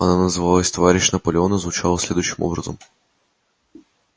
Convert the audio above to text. она назвалась товарищ наполеон и звучала следующим образом